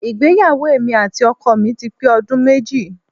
Ìgbéyàwó èmi àti ọkọ mi ti pé ọdún méjì